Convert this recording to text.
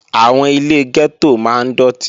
Àwọn ilé gẹ́tò máa ń dọ̀tí